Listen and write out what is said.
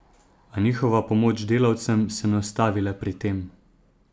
A njihova pomoč delavcem se ne ustavi le pri tem.